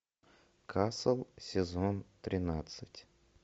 касл сезон тринадцать